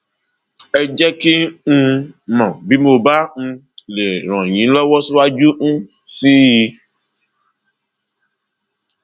ẹ jẹ kí um n mọ bí mo um bá lè ràn yín lọwọ síwájú um sí i